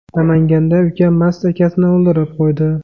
Namanganda uka mast akasini o‘ldirib qo‘ydi.